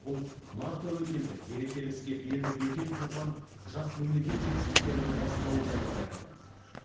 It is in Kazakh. бұл нар тәуекел деп берекелі іске белді бекем буған жас мемлекет жетістіктерінің бастауы жайлы баяндайды